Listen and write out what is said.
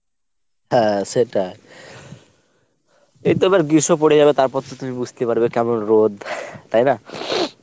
হ্যাঁ সেটাই। এইতো এবার গ্রীষ্ম পরে যাবে তারপর তো তুমি বুঝতে পারবে কেমন রোদ তাই না?